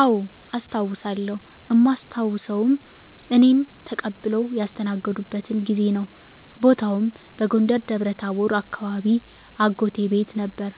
አዎ አስታዉሳለው እማስታዉሰዉም እኔን ተቀብለዉ ያስተናገዱበትን ጊዜ ነዉ። ቦታዉም በጎንደር ደብረታቦር አካባቢ አጎቴ ቤት ነበር